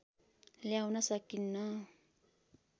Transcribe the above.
ल्याउन सकिन्न